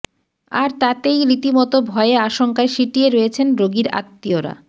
আর তাতেই রীতিমতো ভয়ে আশঙ্কায় সিঁটিয়ে রয়েছেন রোগীর আত্মীয়রা